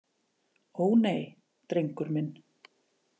Ó, nei, drengur minn.